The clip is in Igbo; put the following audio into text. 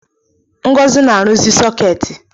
Ngozi na-arụzi sọketi